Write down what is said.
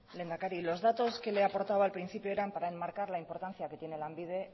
lehendakari los datos que le aportaba al principio eran para enmarcar la importancia que tiene lanbide